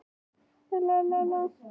Þurý, hvaða leikir eru í kvöld?